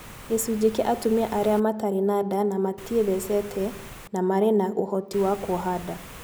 Gĩcunjĩ kĩa atumia arĩa matarĩ na nda na matiĩthecete na marĩ na uhoti wa kuoha nda